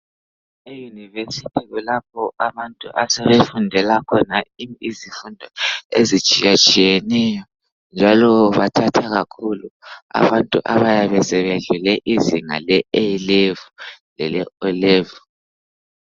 Euniversity kulapho abantu asebefundela khona izifundo ezitshiyatshiyeneyo njalo bathatha kakhulu abantu abayabe sebedlule izinga le A level lele O level